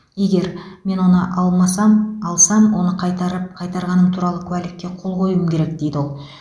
егер мен оны алмасам алсам оны қайтарып қайтарғаным туралы куәлікке қол қоюым керек дейді ол